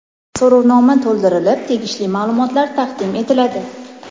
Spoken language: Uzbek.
So‘rovnoma to‘ldirilib, tegishli maʼlumotlar taqdim etiladi.